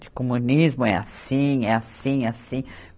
De comunismo é assim, é assim, é assim.